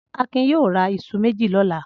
Akin yóò ra iṣu méjì lọ́la!